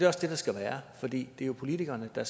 også det der skal være for det er jo politikerne der